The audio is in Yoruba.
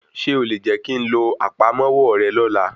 Ṣé o lè jẹ́ kí ń lo àpamọ́wọ́ rẹ lọ́la?